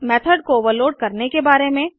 method को overload करने के बारे में